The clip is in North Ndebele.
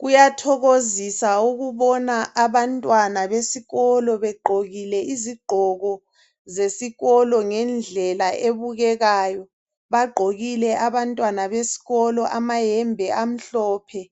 Kuyathokozisa ukubona abantwana besikolo begqokile izigqoko zesikolo ngendlela ebukekayo. Bagqokile abantwana besikolo amayembe amhlophe